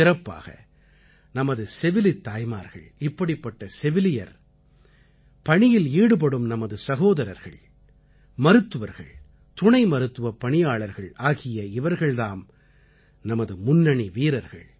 சிறப்பாக நமது செவிலித் தாய்மார்கள் இப்படிப்பட்ட செவிலியர் பணியில் ஈடுபடும் நமது சகோதரர்கள் மருத்துவர்கள் துணை மருத்துவப் பணியாளர்கள் ஆகிய இவர்கள் தாம் நமது முன்னணி வீரர்கள்